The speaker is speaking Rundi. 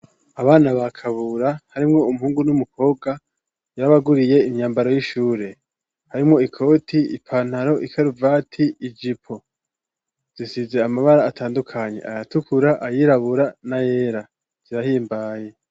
Abana ba Kabura harimwo umuhungu n'umukobwa, yarabaguriye imyambaro y'ishure. Harimwo ikoti, ipantaro ikaruvati, ijipo. Zisize amabara atandukanye ayatukura, ayirabura n'ayera. Zirahimbaye.